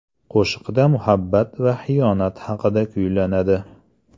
Qo‘shiqda muhabbat va xiyonat haqida kuylanadi.